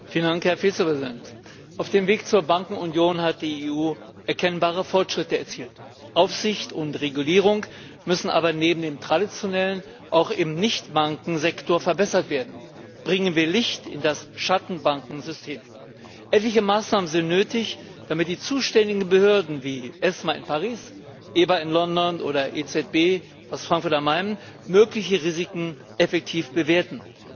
Herr Präsident, Herr Vizepräsident! Auf dem Weg zur Bankenunion hat die EU erkennbare Fortschritte erzielt. Aufsicht und Regulierung müssen aber neben dem traditionellen auch im Nicht Bankensektor verbessert werden. Bringen wir Licht in das Schattenbankensystem. Etliche Maßnahmen sind nötig, damit die zuständigen Behörden, wie die ESMA in Paris, die EBA in London oder die EZB in Frankfurt am Main mögliche Risiken effektiv bewerten.